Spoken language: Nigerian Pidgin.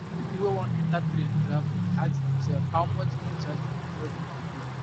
pipo wey wan enta train travel dey ask dem sefs how much dem charge dem before dem go pay